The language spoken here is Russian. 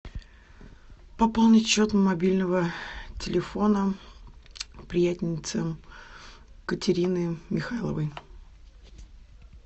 пополнить счет мобильного телефона приятельницы катерины михайловой